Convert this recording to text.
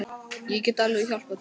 Ég get alveg hjálpað til.